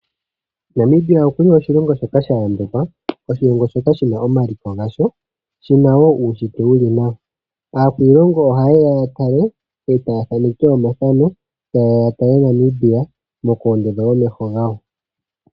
Namibia okuna oshilongo shoka sha yambekwa. Oshilongo shoka shina omaliko gasho. Shina wo uushitwe wuli nawa. Aakwiilongo oha yeya ya tale etaya thaneke omathano. Tayeya ya tale Namibia noku ondotha omeho gawo.